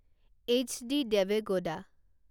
H D Deve Gowda